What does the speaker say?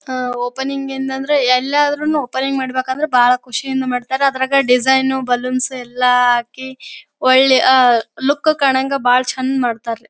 ಅಹ್ opening ಇಂದಂದ್ರೆ ಎಲ್ಲಾದ್ರೂ opening ಮಾಡಬೇಕಾದ್ರೆ ಬಹಳ ಖುಷಿಯಿಂದ ಮಾಡತ್ತರೆ ಅದ್ರಂಗ್ ಡಿಸೈನ್ ನು ಬಲೂನ್ಸ್ ಎಲ್ಲಾ ಹಾಕಿ ಒಳ್ಳೆ ಅಹ್ ಲುಕ್ ಕಾಣಂಗ್ ಬಹಳ್ ಚಂದ್ ಮಾಡತರೇ.